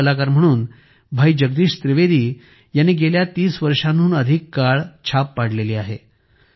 हास्य कलाकार म्हणून भाई जगदीश त्रिवेदी यांनी गेल्या 30 वर्षांहून अधिक काळ छाप पाडली आहे